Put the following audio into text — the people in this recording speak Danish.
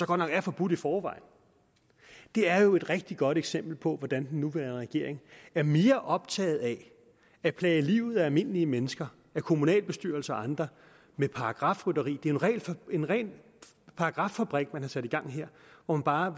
godt nok er forbudt i forvejen det er jo et rigtig godt eksempel på hvordan den nuværende regering er mere optaget af at plage livet af almindelige mennesker af kommunalbestyrelser og andre med paragrafrøveri det er jo en ren paragraffabrik man har sat i gang her hvor man bare